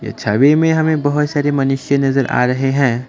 छवि में हमें बहुत सारी मनुष्य नजर आ रहे हैं।